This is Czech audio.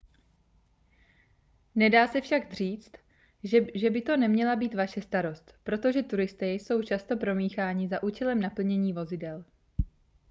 nedá se však říct že by to neměla být vaše starost protože turisté jsou často promícháni za účelem naplnění vozidel